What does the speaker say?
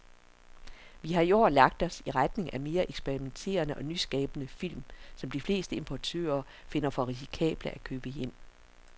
Vi har i år lagt os i retning af mere eksperimenterede og nyskabende film, som de fleste importører finder for risikable at købe hjem.